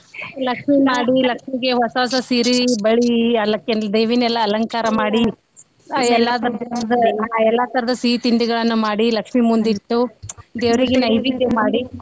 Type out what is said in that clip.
ಲಕ್ಷ್ಮೀ ಮಾಡಿ ಲಕ್ಷ್ಮೀಗೆ ಹೊಸಾ ಹೊಸಾ ಸೀರಿ ಬಳಿ ಅಲ್~ ಅಕಿನ್ನ ದೇವಿನೆಲ್ಲಾ ಅಲಂಕಾರ ಮಾಡಿ ಎಲ್ಲಾ ತರದ ಸೀ ತಿಂಡಿಗಳನ್ನ ಮಾಡಿ ಲಕ್ಷ್ಮೀ ಮುಂದ್ ಇಟ್ಟು ದೇವ್ರಿಗೆ ನೈವೇದ್ಯ ಮಾಡಿ.